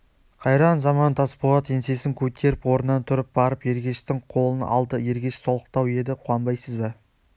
қайран заман тасболат еңсесін көтеріп орнынан тұрып барып ергештің қолын алды ергеш солықтау еді қуанбайсыз ба